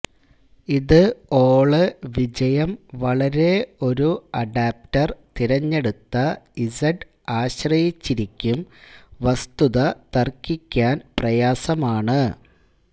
ഇത് ഓള് വിജയം വളരെ ഒരു അഡാപ്റ്റർ തിരഞ്ഞെടുത്ത ഇസെഡ് ആശ്രയിച്ചിരിക്കും വസ്തുത തർക്കിക്കാൻ പ്രയാസമാണ്